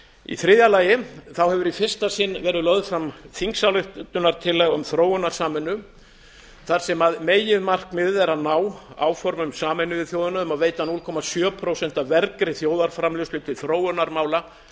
í þriðja lagi hefur í fyrsta sinn verið lögð fram þingsályktunartillaga um þróunarsamvinnu þar sem meginmarkmiðið er að ná áformum sameinuðu þjóðanna um að veita núll komma sjö prósent af vergri þjóðarframleiðslu til þróunarmála